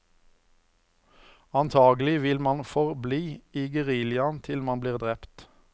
Antakelig vil man forbli i geriljaen til man blir drept.